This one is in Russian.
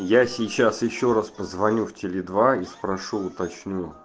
я сейчас ещё раз позвоню в и спрошу уточню